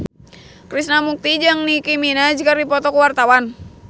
Krishna Mukti jeung Nicky Minaj keur dipoto ku wartawan